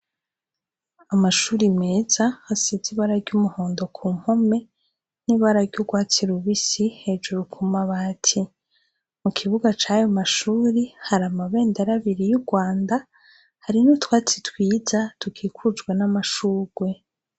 Amashure meza asize ibara ry’umuhondo kumpome n’ibara ry’urwatsi rubisi hejuru kumabati. Mu kibuga cayo mashure hari amabendera abiri y’Urwanda hari n’utwatsi twiza dukikujwe n’amashugwe.